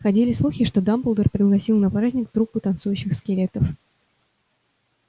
ходили слухи что дамблдор пригласил на праздник труппу танцующих скелетов